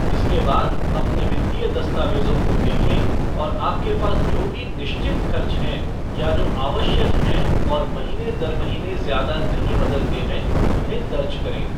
इसके बाद, अपने वित्तीय दस्तावेज़ों को देखें और आपके पास जो भी निश्चित खर्च हैं, या जो आवश्यक हैं और महीने दर महीने ज़्यादा नहीं बदलते हैं, उन्हें दर्ज करें।